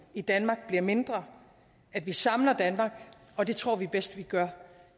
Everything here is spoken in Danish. i danmark bliver mindre at vi samler danmark og det tror vi bedst vi gør